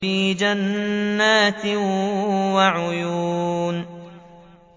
فِي جَنَّاتٍ وَعُيُونٍ